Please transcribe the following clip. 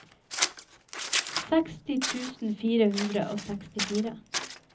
seksti tusen fire hundre og sekstifire